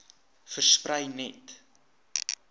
versprei net